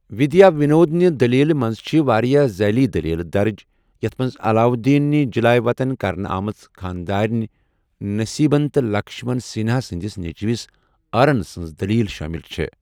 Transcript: وِدیا وِنود نہِ دٔلیٖلہِ منٛز چھِ واریاہ ذیلی دٔلیٖلہٕ دَرٕج، یتھ منٛز علاودیٖن نہِ جلاے وطن کرنہٕ آمٕژ خانٛداریٚنہِ نٔصیٖبن تہٕ لَکشمَن سِنہا سٕنٛدِس نیٚچِوِس ارن سٕنٛز دٔلیٖل شٲمِل چھےٚ۔